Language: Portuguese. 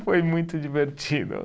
Foi muito divertido.